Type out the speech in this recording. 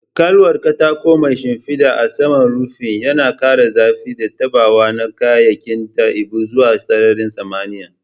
Ƙaƙwalwar katako mai shimfiɗa a saman rufin, yana ƙara zafi da taɓawa na kyawawan dabi'u zuwa sararin samaniya.